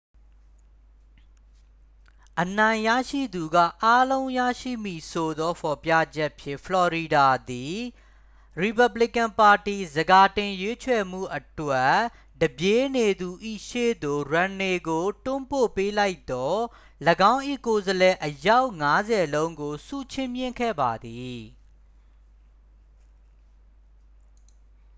အနိုင်ရသူကအားလုံးရရှိမည်ဆိုသောဖော်ပြချက်ဖြင့် ဖလော်ရီဒါသည် ရီပက်ဘလီကန်ပါတီ ဆန်ခါတင်ရွေးချယ်မှုအတွက် တစ်ပြေးနေသူ၏ရှေ့သို့ ရွမ်နေကို တွန်းပို့ပေးလိုက်သော ၎င်း၏ကိုယ်စားလှယ်အယောက်ငါးဆယ်လုံးကို ဆုချီးမြှင့်ခဲ့ပါသည်